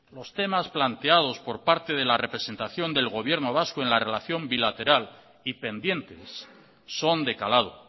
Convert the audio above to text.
los temas planteados por parte de la representación del gobierno vasco en la relación bilateral y pendientes son de calado